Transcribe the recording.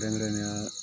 Kɛrɛnkɛrɛnnenya